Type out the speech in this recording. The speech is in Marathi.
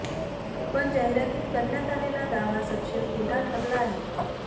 पण जाहिरातीत करण्यात आलेला दावा सपशेल खोटा ठरला आहे